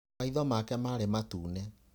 Maitho make marĩ matune.